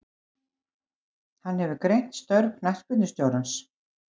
Hann hefur greint störf knattspyrnustjórans.